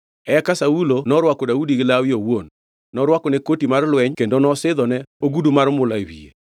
Eka Saulo norwako Daudi gi lawe owuon. Norwakone koti mar lweny kendo nosidhone ogudu mar mula e wiye.